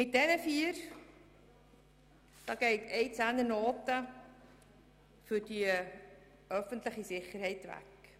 Von diesen vier geht eine Zehnernote für die öffentliche Sicherheit weg.